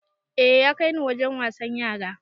A ya kaini Wajen wasan yara